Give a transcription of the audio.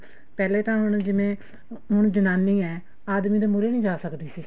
ਪਹਿਲੇ ਤਾਂ ਹੁਣ ਜਿਵੇਂ ਹੁਣ ਜਨਾਨੀ ਹੈ ਆਦਮੀ ਦੇ ਮੁਹਰੇ ਨੀ ਜਾ ਸਕਦੀ ਸੀ